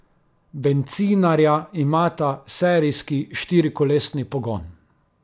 Bencinarja imata serijski štirikolesni pogon.